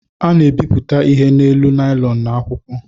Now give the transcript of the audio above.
A na-ebipụta ihe n’elu naịlọn na akwụkwọ